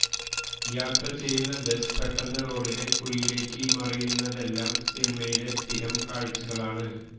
യാത്രചെയ്യുന്ന bus പെട്ടന്ന് റോഡിലെ കുഴിയിലേക്ക് മറിയുന്നതെല്ലാം സിനിമയിലെ സ്ഥിരം കാഴ്ചകളാണ്